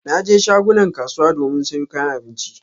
Na je shagunan kasuwa domin sayo kayan abinci na.